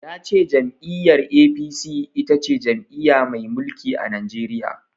Ya ce jam'iyyar A.P.C itace jam'iya mai mulki a Najeriya.